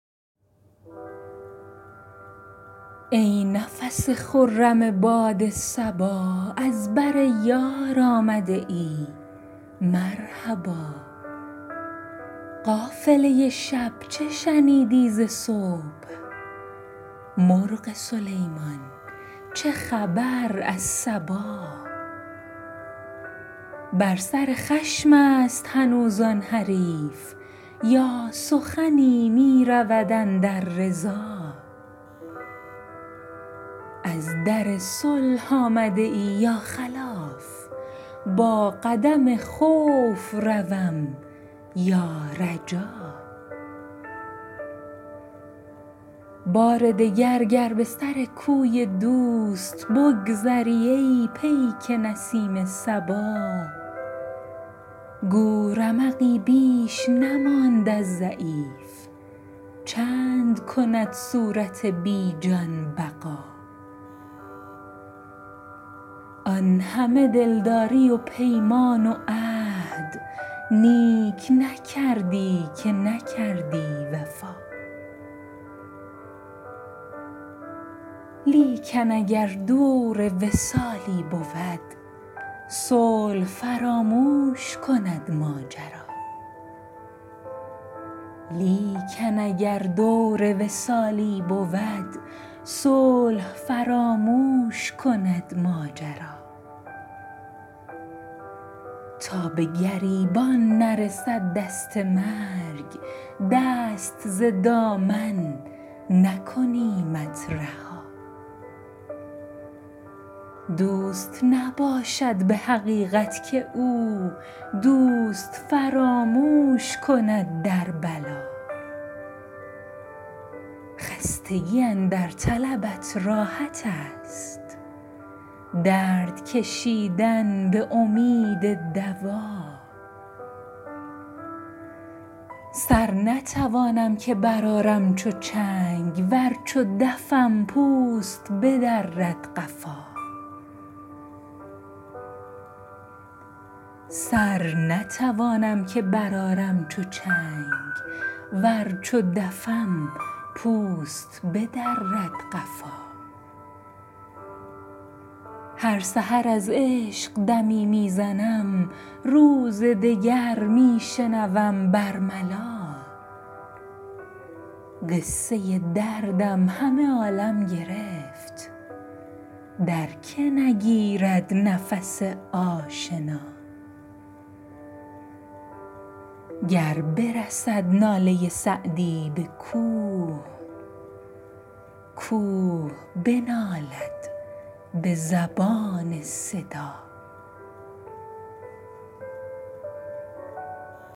ای نفس خرم باد صبا از بر یار آمده ای مرحبا قافله شب چه شنیدی ز صبح مرغ سلیمان چه خبر از سبا بر سر خشم است هنوز آن حریف یا سخنی می رود اندر رضا از در صلح آمده ای یا خلاف با قدم خوف روم یا رجا بار دگر گر به سر کوی دوست بگذری ای پیک نسیم صبا گو رمقی بیش نماند از ضعیف چند کند صورت بی جان بقا آن همه دلداری و پیمان و عهد نیک نکردی که نکردی وفا لیکن اگر دور وصالی بود صلح فراموش کند ماجرا تا به گریبان نرسد دست مرگ دست ز دامن نکنیمت رها دوست نباشد به حقیقت که او دوست فراموش کند در بلا خستگی اندر طلبت راحت است درد کشیدن به امید دوا سر نتوانم که برآرم چو چنگ ور چو دفم پوست بدرد قفا هر سحر از عشق دمی می زنم روز دگر می شنوم بر ملا قصه دردم همه عالم گرفت در که نگیرد نفس آشنا گر برسد ناله سعدی به کوه کوه بنالد به زبان صدا